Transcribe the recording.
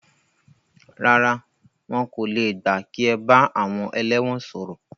Rárá, wọn kò le gbà kí ẹ bá àwọn ẹlẹ́wọ̀n sọ̀rọ̀.